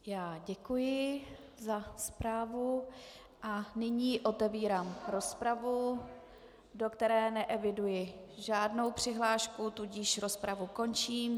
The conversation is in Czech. Já děkuji za zprávu a nyní otevírám rozpravu, do které neeviduji žádnou přihlášku, tudíž rozpravu končím.